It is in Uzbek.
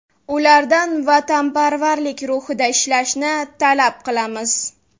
Ulardan vatanparvarlik ruhida ishlashni talab qilamiz”.